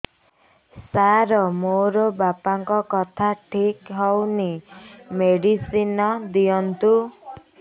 ସାର ମୋର ବାପାଙ୍କର କଥା ଠିକ ହଉନି ମେଡିସିନ ଦିଅନ୍ତୁ